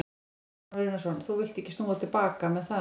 Kristján Már Unnarsson: Þú villt ekki snúa til baka með það?